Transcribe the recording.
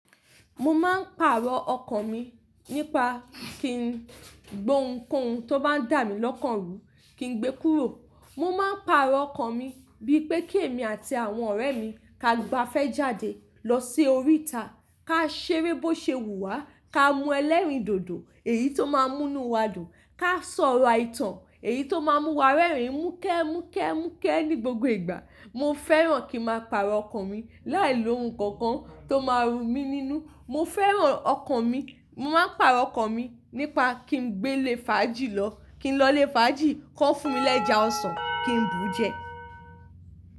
Mo máa ń pàrọ̀ ọkàn mi nípa kí n gbó ounkouj tó bá dà mí lọ́kàn rú, kí n gbé kúrò. Mo máa ń pàrọ̀ ọkàn mi bíi pé kí èmi àti àwọn ọ̀rẹ́ mi, ka gbá fẹ́ jáde lọ sí oríta, ká ṣeré bó ṣe wù wá, ká mú ẹlẹ́rìndòdò èyí tó máa ń mú inú wa dùn, ká sọ̀rọ̀ àìtàn èyí tó máa ń mú wa rẹ́rìn múkẹ́, múkẹ́, múkẹ́ ní gbogbo ìgbà. Mo fẹ́ràn kí n máa pàrọ̀ ọkàn mi láìlo ohun kankan tó máa rú mi nínú. Mo fẹ́ràn ọkàn mi. Mo máa ń pàrọ̀ ọkàn mi nípa kí n gbé lé fàájì lọ, kí n lọ lé fàájì, kó fún mi l'ẹja ọsàn, kí n bú jẹ.